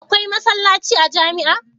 Akwai masallaci a jamia